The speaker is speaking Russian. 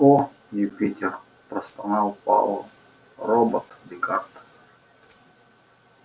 о юпитер простонал пауэлл робот-декарт